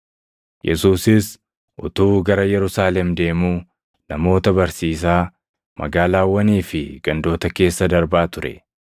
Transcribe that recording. Yesuusis utuu gara Yerusaalem deemuu namoota barsiisaa magaalaawwanii fi gandoota keessa darbaa ture.